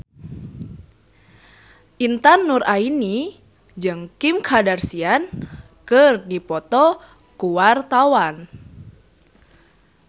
Intan Nuraini jeung Kim Kardashian keur dipoto ku wartawan